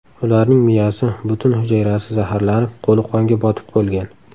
Ularning miyasi, butun hujayrasi zaharlanib, qo‘li qonga botib bo‘lgan.